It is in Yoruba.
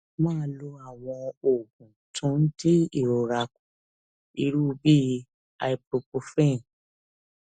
máa lo àwọn oògùn tó ń dín ìrora kù irú bíi ibuprofen